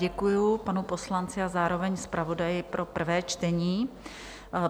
Děkuji panu poslanci a zároveň zpravodaji pro prvé čtení.